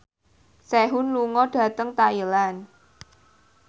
Sehun lunga dhateng Thailand